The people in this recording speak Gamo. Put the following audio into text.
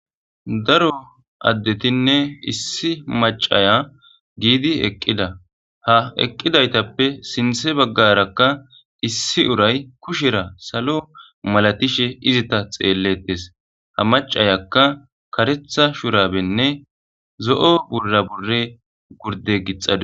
Daro addetinne issi macaya giidi eqqida ha eqqidaytappe sinthe baggarakka issi uray kushera salo malatishe izita xeellettes ha macayakka karetha shurabenne zo7o burra bure gurde gixadi.